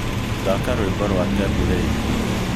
thaaka rwĩmbo rwa tebu ley